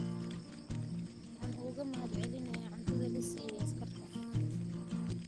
Waxaan uga mahadcelineynaa cuntada la siiyay askarta.